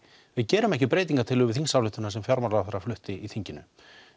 við gerum ekki breytingartillögur við þingsályktun sem fjármálaráðherra flutti í þinginu